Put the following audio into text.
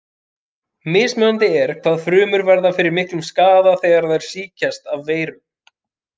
Mismunandi er hvað frumur verða fyrir miklum skaða þegar þær sýkjast af veirum.